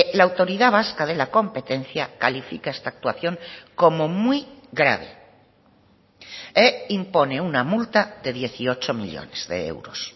la autoridad vasca de la competencia califica esta actuación como muy grave e impone una multa de dieciocho millónes de euros